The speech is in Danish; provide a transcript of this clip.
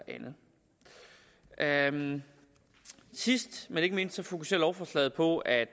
andet sidst men ikke mindst fokuserer lovforslaget på at